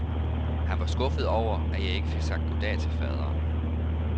Han var skuffet over, at jeg ikke fik sagt goddag til faderen.